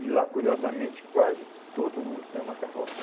E lá, curiosamente, quase todo mundo tem uma carroça.